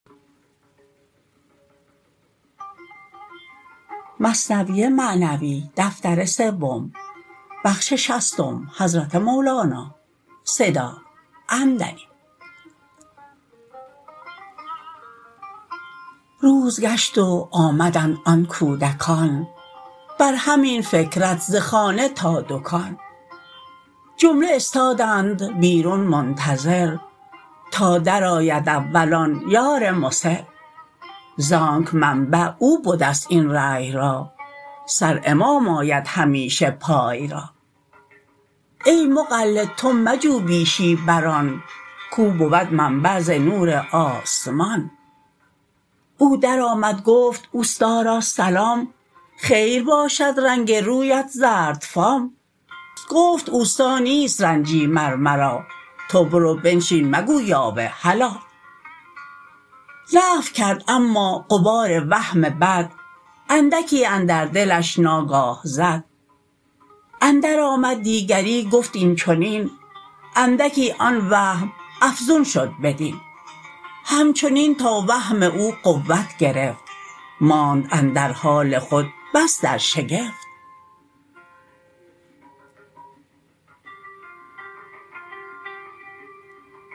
روز گشت و آمدند آن کودکان بر همین فکرت ز خانه تا دکان جمله استادند بیرون منتظر تا درآید اول آن یار مصر زانک منبع او بدست این رای را سر امام آید همیشه پای را ای مقلد تو مجو بیشی بر آن کو بود منبع ز نور آسمان او در آمد گفت استا را سلام خیر باشد رنگ رویت زردفام گفت استا نیست رنجی مر مرا تو برو بنشین مگو یاوه هلا نفی کرد اما غبار وهم بد اندکی اندر دلش ناگاه زد اندر آمد دیگری گفت این چنین اندکی آن وهم افزون شد بدین همچنین تا وهم او قوت گرفت ماند اندر حال خود بس در شگفت